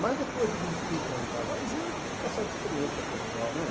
Mas depois de vinte e cinco anos de casado, você já tem uma certa experiência conjugal, né?